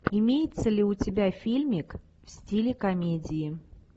имеется ли у тебя фильмик в стиле комедии